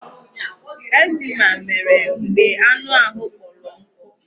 Eczema mere mgbe anụ ahụ kpọrọ nkụ.